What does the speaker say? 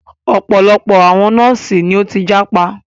Ọ̀pọ̀lọpọ̀ àwọn nọ́ọ̀sì ni o tí jápa.